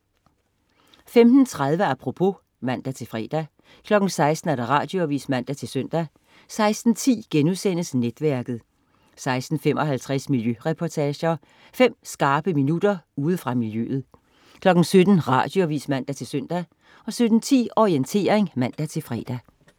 15.30 Apropos (man-fre) 16.00 Radioavis (man-søn) 16.10 Netværket* 16.55 Miljøreportager. Fem skarpe minutter ude fra miljøet 17.00 Radioavis (man-søn) 17.10 Orientering (man-fre)